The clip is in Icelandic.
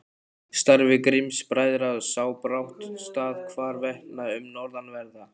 Starfi Grimms-bræðra sá brátt stað hvarvetna um norðanverða